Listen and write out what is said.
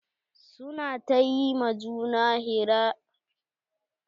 Su na ta ƴi ma juna hira na jima'i wuche sati ɗaya yanzun.